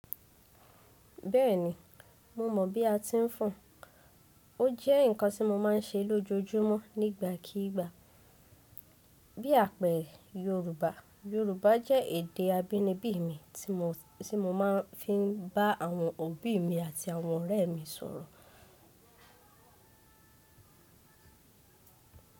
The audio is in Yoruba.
Bẹ́ẹ̀ni, mo mọ̀ bí a ti ń fùn. Ó jẹ́ ǹkan tí mo máa ń ṣe lójoojúmọ́ nígbàkígbà. Bí àpẹ Yorùbá. Yorùbá jẹ́ èdè abínibí mi tí mo máa ń fi bá àwọn òbí mi àti àwọn ọ̀rẹ́ mi sọ̀rọ̀.